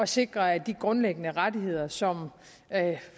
sikre at de grundlæggende rettigheder som